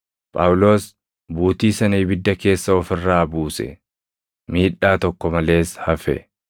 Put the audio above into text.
Phaawulos buutii sana ibidda keessa of irraa buuse; miidhaa tokko malees hafe.